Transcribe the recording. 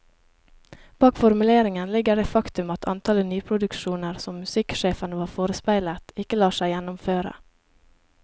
Bak formuleringen ligger det faktum at antallet nyproduksjoner som musikksjefen var forespeilet, ikke lar seg gjennomføre.